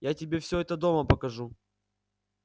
я тебе все это дома покажу